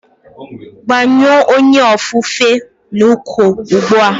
Gbanyụọ onye ofufe n'uko ugbu a!